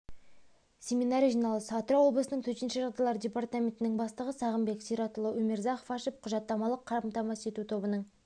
семинар жиналыс атырау облысының төтенше жағдайлар департаментінің бастығы сағынбек сиратұлы умирзахов ашып құжаттамалық қамтамасыз ету тобының